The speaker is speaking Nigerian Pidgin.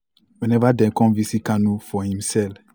whenever dem come visit kanu for im cell.